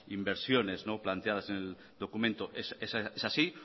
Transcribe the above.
inversiones planteadas en el documento es así